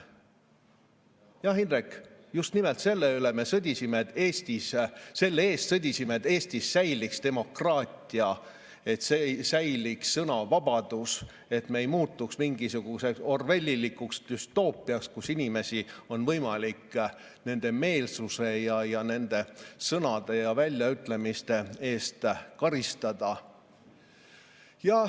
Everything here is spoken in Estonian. Jah, Indrek, just nimelt selle eest sõdisime, et Eestis säiliks demokraatia, et säiliks sõnavabadus, et me ei muutuks mingisuguseks orwellilikuks düstoopiaks, kus inimesi on võimalik nende meelsuse, nende sõnade ja väljaütlemiste eest karistada.